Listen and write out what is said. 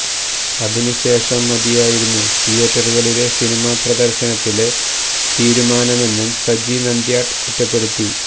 അതിന് ശേഷം മതിയായിരുന്നു തിയേറ്ററുകളിലെ സിനിമാ പ്രദര്ശനത്തിലെ തീരുമാനമെന്നും സജി നന്ത്യാട്ട് കുറ്റപ്പെടുത്തി